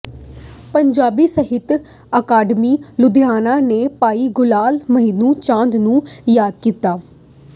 ਪੰਜਾਬੀ ਸਾਹਿਤ ਅਕਾਡਮੀ ਲੁਧਿਆਣਾ ਨੇ ਭਾਈ ਗੁਲਾਮ ਮੁਹੰਮਦ ਚਾਂਦ ਨੂੰ ਯਾਦ ਕੀਤਾ